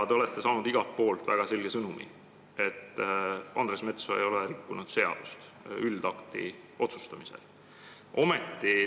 Te olete igalt poolt saanud väga selge sõnumi, et Andres Metsoja ei ole üldakti üle otsustamisel seadust rikkunud.